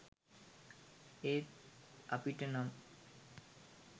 ඒත් අපිටනම්